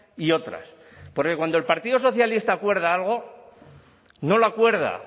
y otras porque cuando el partido socialista acuerda algo no lo acuerda